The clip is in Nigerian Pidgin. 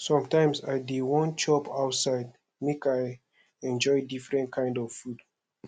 sometimes i dey wan chop outside make i enjoy different kind food